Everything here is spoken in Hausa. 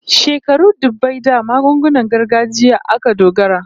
Shekaru dubbai da magungunan gargajiya aka dogara